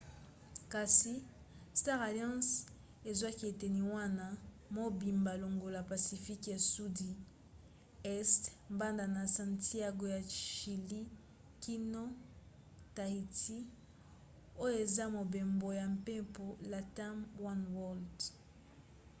kasi star alliance ezwaka eteni wana mobimba longola pacifique ya sudi este banda na santiago ya chilie kino tahiti oyo eza mobembo ya mpepo latam oneworld